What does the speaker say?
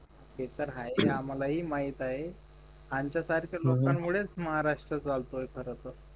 ते तर आहेच ना मला माहिती आहे आमच्या सारख्या लोकं मुळेच महाराष्ट्र चालतोय खर तर